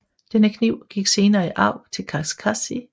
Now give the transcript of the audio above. Denne kniv gik senere i arv til Kakashi